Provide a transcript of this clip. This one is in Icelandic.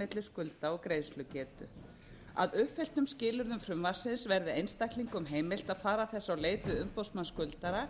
milli skulda og greiðslugetu að uppfylltum skilyrðum frumvarpsins verði einstaklingum heimilt að fara þess á leit við umboðsmann skuldara